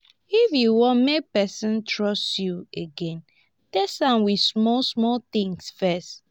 if you want make person trust you again test am with small small things first